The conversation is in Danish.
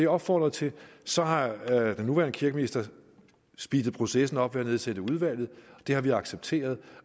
opfordrede til så har den nuværende kirkeminister speedet processen op ved at nedsætte udvalget det har vi accepteret